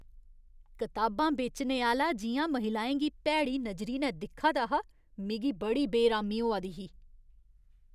कताबां बेचने आह्‌ला जि'यां महिलाएं गी भैड़ी नजरी नै दिक्खै दा हा, मिगी बड़ी बेरामी होआ दी ही।